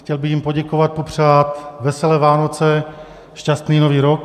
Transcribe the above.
Chtěl bych jim poděkovat, popřát veselé Vánoce, šťastný nový rok.